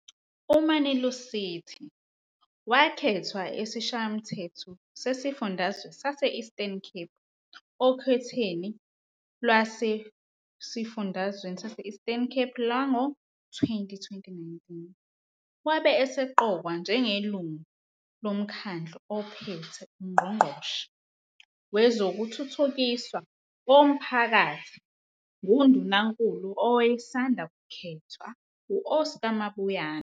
UMani-Lusithi wakhethwa esiShayamthetho sesiFundazwe sase - Eastern Cape okhethweni lwesifundazwe sase-Eastern Cape lwango-202019. Wabe eseqokwa njengelungu loMkhandlu oPhethe, uNgqongqoshe, wezokuThuthukiswa koMphakathi nguNdunankulu owayesanda kukhethwa, u-Oscar Mabuyane.